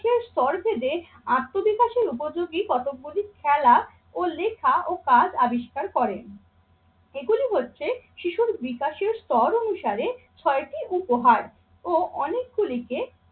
শেষ স্তর বেঁধে আত্মবিকাশের উপযোগী কটকগুলি খেলা ও লেখা ও কাজ আবিষ্কার করেন। এগুলি হচ্ছে শিশুর বিকাশের স্তর অনুসারে ছয়টি উপহার ও অনেকগুলিকে